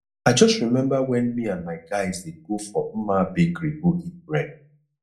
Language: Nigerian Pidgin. i just remember wen me and my guys dey go for mma bakery go eat bread